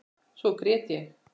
Svo grét ég.